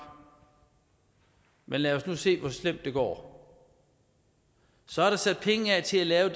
men lad os nu se hvor slemt det går så er der sat penge af til at lave